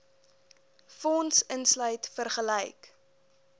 fonds insluit vergelyk